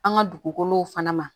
An ka dugukolow fana ma